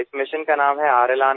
এই অভিযানৰ নাম ৰখা হৈছে R